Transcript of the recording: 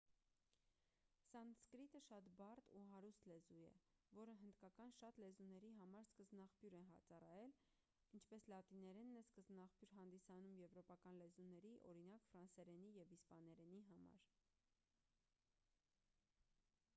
սանսկրիտը շատ բարդ ու հարուստ լեզու է որը հնդկական շատ լեզուների համար սկզբնաղբյուր է ծառայել ինչպես լատիներենն է սկզբնաղբյուր հանդիսանում եվրոպական լեզուների օրինակ ֆրանսերենի և իսպաներենի համար